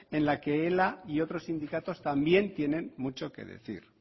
en la que ela y otros sindicatos también tienen mucho que decir